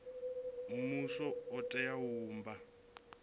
muvhuso u tea u vhumba